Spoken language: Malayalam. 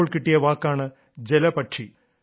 അപ്പോൾ കിട്ടിയ വാക്കാണ് ജലപക്ഷി